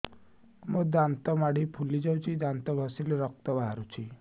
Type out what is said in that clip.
ମୋ ଦାନ୍ତ ମାଢି ଫୁଲି ଯାଉଛି ଦାନ୍ତ ଘଷିଲେ ରକ୍ତ ବାହାରୁଛି